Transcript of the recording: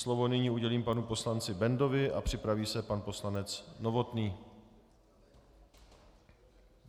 Slovo nyní udělím panu poslanci Bendovi a připraví se pan poslanec Novotný.